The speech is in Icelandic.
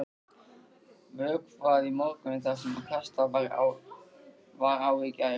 Vökvað í morgun það sem kastað var á í gær.